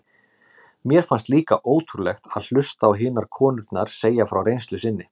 Mér fannst líka ótrúlegt að hlusta á hinar konurnar segja frá reynslu sinni.